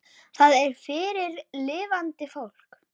Það er fyrir lifandi fólk.